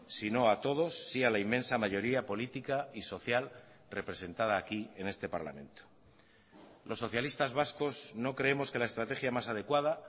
si no a todos sí a la inmensa mayoría política y social representada aquí en este parlamento los socialistas vascos no creemos que la estrategia más adecuada